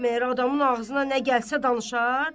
Məgər adamın ağzına nə gəlsə danışar?